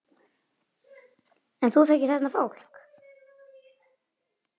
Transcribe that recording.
En þú þekkir þarna fólk?